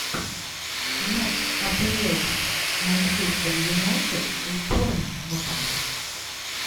матч апл манчестер юнайтед с борнмутом